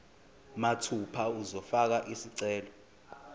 mathupha uzofaka isicelo